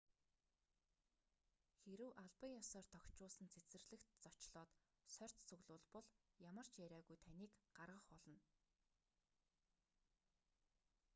хэрэв албан ёсоор тохижуулсан цэцэрлэгт зочлоод сорьц цуглуулбал ямар ч яриагүй таныг гаргах болно